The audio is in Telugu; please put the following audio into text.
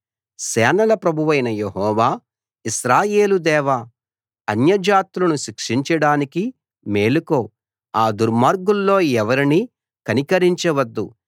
సేనల ప్రభువైన యెహోవా ఇశ్రాయేలు దేవా అన్యజాతులను శిక్షించడానికి మేలుకో ఆ దుర్మార్గుల్లో ఎవరినీ కనికరించవద్దు